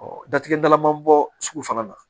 datigɛ dala man bɔ sugu fana na